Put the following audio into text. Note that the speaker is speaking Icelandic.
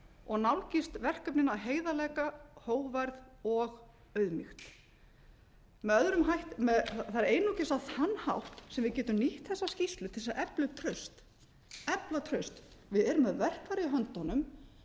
og nálgast verkefnin af heiðarleika hógværð og auðmýkt það er einungis á þann hátt sem við getum nýtt þessa skýrslu til þess að efla upp traust efla traust við erum með verkfærið í höndunum